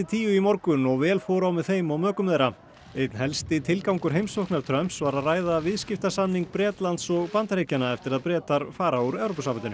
tíu í morgun og vel fór á með þeim og mökum þeirra einn helsti tilgangur heimsóknar Trumps var að ræða viðskiptasamning Bretlands og Bandaríkjanna eftir að Bretar fara úr Evrópusambandinu